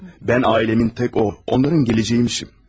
Mən ailəmin tək o, onların gələcəyiyəmmişəm.